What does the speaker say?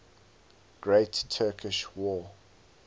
great turkish war